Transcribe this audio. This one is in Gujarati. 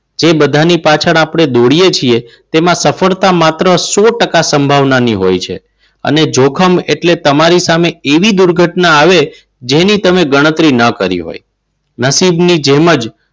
એ બધાની પાછળ આપણને દોડીએ તો છીએ. તેમાં સફળતા માત્ર સો ટકા સંભાવના ની હોય છે. અને જોખમ એટલે તમારી સામે એવી દુર્ઘટના આવે જેની તમે ગણતરી ન કરી હોય. નસીબની જેમ જ,